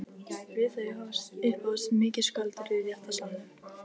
Við þau upphófst mikið skvaldur í réttarsalnum.